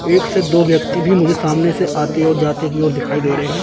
एक से दो व्यक्ति भी मुझे सामने से आते और जाते की ओर दिखाई दे रहे हैं।